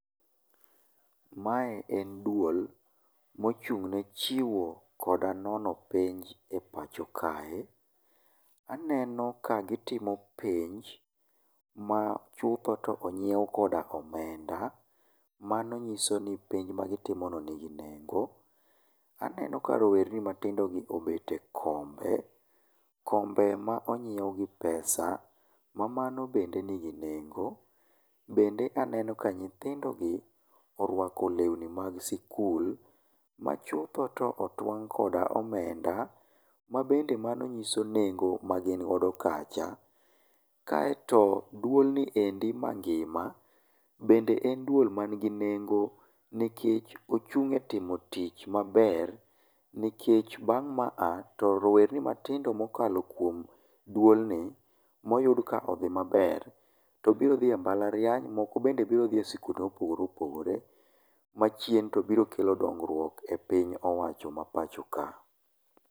Mae en duol mochung' ne chiwo koda nono penj e pacho kae. Aneno ka gitimo penj ma chutho to on syiew koda omenda. Mano nyiso ni penj ma gitimono nigi nengo. Aneno ka rowerni matin dogi obet e kombe, kombe ma onyiew gi pesa ma mano bende nigi nengo. Bende aneno ka nyithindogi orwako lewni mag sikul, ma chutho to otwang' koda omenda, ma bende mano nyiso nengo magin godo kacha. Kaeto duol ni endi mangima bende en duol man gi nengo nikech ochung' e timo tich maber. Nikech bang' ma a to rowerni matindo mokalo kuom duolni moyud ka odhi maber to biro dhi e mbalariany, moko bende biro dhi e sikunde mopogore opogore, ma achien to biro kelo dongruok e piny owacho ma pachoka.